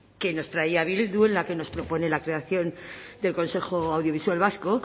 que nos traía bildu en la que nos propone la creación del consejo audiovisual vasco